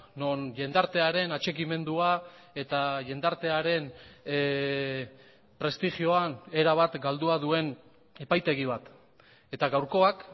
non jendartearen atxikimendua eta jendartearen prestigioan erabat galdua duen epaitegi bat eta gaurkoak